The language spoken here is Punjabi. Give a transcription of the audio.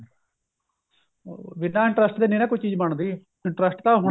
ਬਿਨਾ interest ਤੇ ਨਹੀਂ ਨਾ ਕੋਈ ਚੀਜ਼ ਬਣਦੀ interest ਤਾਂ